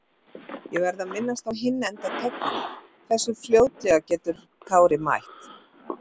Ég verð að minnast á hinn enda töflunnar- Hversu fljótlega getur Kári mætt?